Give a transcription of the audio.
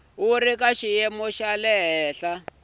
wu ri ka xiyimo xa